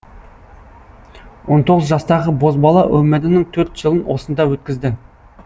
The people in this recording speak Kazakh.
он тоғыз жастағы бозбала өмірінің төрт жылын осында өткізді